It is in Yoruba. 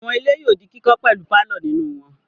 Àwọn ilé yóò di kíkọ́ pẹ̀lú pálọ̀ nínú wọn.